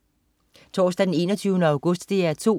Torsdag den 21. august - DR 2: